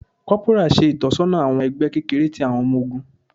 Corporal ṣe itọsọna awọn ẹgbẹ kekere ti awọn ọmọ ogun.